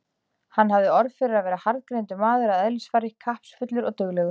Hann hafði orð fyrir að vera harðgreindur maður að eðlisfari, kappsfullur og duglegur.